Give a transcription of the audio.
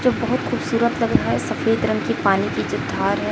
जो बहोत खूबसूरत लग रहा है सफेद रंग की पानी की जो धार है।